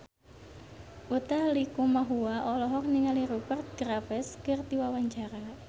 Utha Likumahua olohok ningali Rupert Graves keur diwawancara